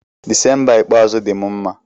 Dịsemba ikpeazụ dị m mma.